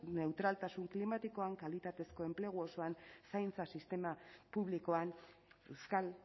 neutraltasun klimatikoan kalitatezko enplegua osoan zaintza sistema publikoan euskal